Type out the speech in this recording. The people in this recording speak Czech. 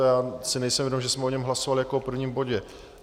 A já si nejsem vědom, že jsme o něm hlasovali jako o prvním bodě.